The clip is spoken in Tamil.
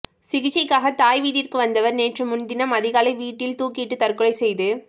சிகிச்சைக்காக தாய் வீட்டிற்கு வந்தவர் நேற்று முன்தினம் அதிகாலை வீட்டில் துாக்கிட்டு தற்கொலை செய்து